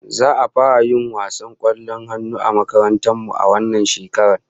Za'a fara yin wasar kwallon hannu a makarantar mu a wannan shekarar